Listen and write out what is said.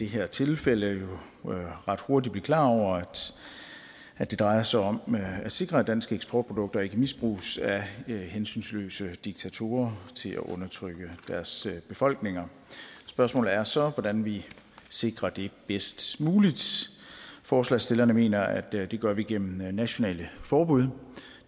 her tilfælde ret hurtigt blive klar over at det drejer sig om at sikre at danske eksportprodukter ikke misbruges af hensynsløse diktatorer til at undertrykke deres befolkninger spørgsmålet er så hvordan vi sikrer det bedst muligt forslagsstillerne mener at det gør vi gennem nationale forbud